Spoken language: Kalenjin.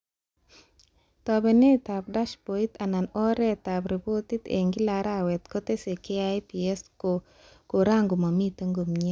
Tabenetab dashbodit anan oretab repotit eng kila arawet kotese KIPs ko kora komamite komie